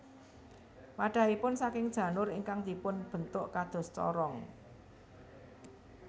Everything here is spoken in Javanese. Wadhahipun saking janur ingkang dipun bentuk kados corong